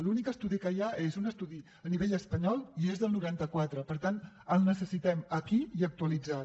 l’únic estudi que hi ha és un estudi a nivell espanyol i és del noranta quatre per tant el necessitem aquí i actualitzat